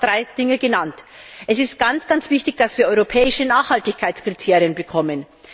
Auch hier seien drei Dinge genannt Es ist ganz wichtig, dass wir europäische Nachhaltigkeitskriterien bekommen.